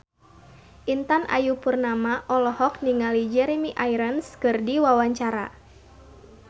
Intan Ayu Purnama olohok ningali Jeremy Irons keur diwawancara